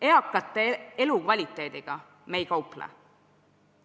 Eakate elukvaliteediga me ei kauple.